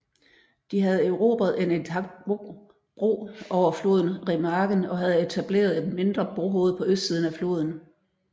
De havde erobret en intakt bro over floden i Remagen og havde etableret et mindre brohoved på østsiden af floden